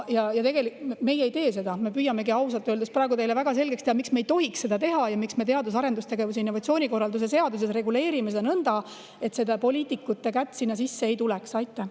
Meie seda ei tee, me püüamegi ausalt öeldes teile praegu väga selgeks teha, miks me ei tohiks seda teha ja miks me teadus‑ ja arendustegevuse ning innovatsiooni korralduse seaduses reguleerime seda nõnda, et poliitikud kätt sinna ei.